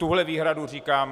Tuto výhradu říkám.